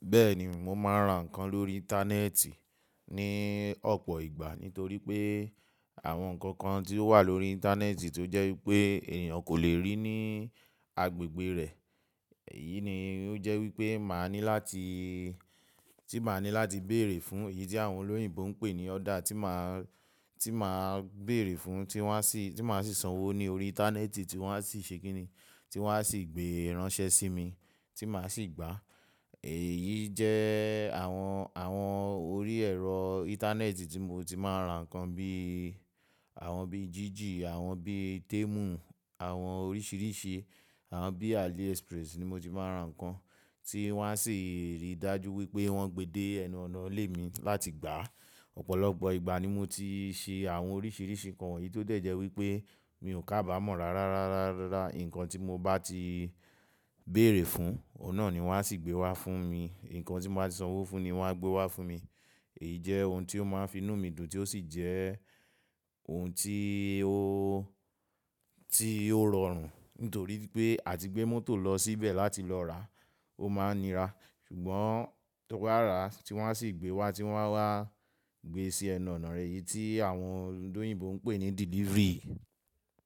Bẹ́ẹ̀ni, mo máa ń ra nǹkan lórí Íńtánẹ́ẹ̀tì ní ọ̀pọ̀ ìgbà. Nítorí pé àwọn nǹkan kan tí ó wà lórí Íńtánẹ́ẹ̀tì tó jẹ́ wípé ènìyàn kò lè rí ní agbègbè rẹ̀. Èyí ni ó jẹ́ wípé máa ní láti, tí máa ní láti bèèrè fún, èyí tí àwọn olóyìnbo ń pè ní order tí máa, tí máa bèèrè fún, tí wọ́n á sì, tí máa sì sanwó ní orí Íńtánẹ́ẹ̀tì tí wọ́n á sì ṣe kíni, tí wọ́n á sì gbé ránṣẹ́ sí mi tí mà á sì gbà. Èyí jẹ́ àwọn, àwọn orí ẹ̀rọ Íńtánẹ́ẹ̀tì tí mo ti máa ń ra nǹkan bí, àwọn bí Jiji, àwọn bí Temu, àwọn oríṣìíríṣìí, àwọn bí AliExpress ni mo ti máa ń ra nǹkan tí wọ́n á sì rí i dájú wípé wọ́n gbe dé ẹnu ọ̀nà ilé mi láti gbà. Ọ̀pọ̀lọpọ̀ ìgbà ni mo ti ṣe àwọn oríṣìíríṣìí nǹkan yìí tó dẹ̀ jẹ́ wípé mi ò kábàámọ̀ rárá, rárá, rárá. Ǹkan tí mo bá ti bèèrè fún, ọ̀un nà ni wọ́n á sì gbé wá fún mi. Ǹkan tí mo bá sanwó fún ni wọ́n á gbé wá fún mi. Èyí jẹ́ ohun tí ó máa ń finú mi dùn tí ó sì jẹ́ ohun tí ó, tí ó rọrùn. Nítorí pé à ti gbé mọ́tò lọ síbẹ̀ láti lọ rà, ó máa ń nira. Ṣùgbọ́n tó bá rà tí wọ́n á sì gbé wá tí wọ́n á wá gbe sí ẹnu ọ̀nà rẹ, èyí tí àwọn olùdóyìnbò ń pè ní delivery.